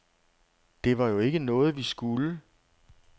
Det var jo ikke noget, vi skulle.